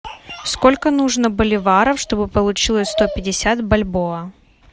сколько нужно боливаров чтобы получилось сто пятьдесят бальбоа